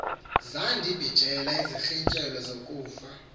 zandibijela izirintyelo zokufa